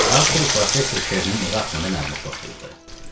Arthur professor Kernin evi haqqında məlumat toplayırdı.